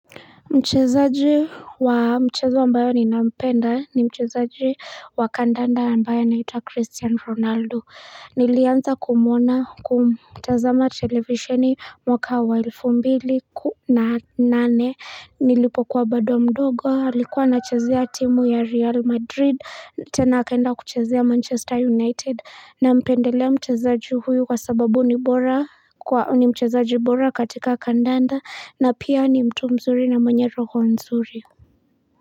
Mchezaji wa mchezo ambayo ni nampenda ni mchezaji wa kandanda ambaye anaitwa Christian Ronaldo Nilianza kumuona kumtazama televisheni mwaka wa elfu mbili na nane Nilipokua bado mdogo alikuwa anachezea timu ya Real Madrid tena akaenda kuchezea Manchester United Nampendelea mchezaji huyu kwa sababu ni mchezaji bora katika kandanda na pia ni mtu mzuri na mwenye roho nzuri.